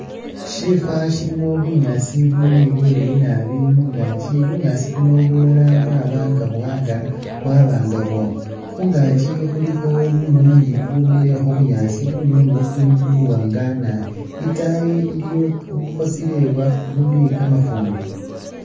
Shifa Shilimo bunyaasi buli bileyi naabi mungaki, bunyaasi buno bulala bwa ba nga buwangala bwaba nga bwooma, khungaki khulikho bunywinywi bubwimile khubunyaasi, bunywinywi ubu buli buwaanga naabi, itaayi iliyo bukhosile buli kamafumbi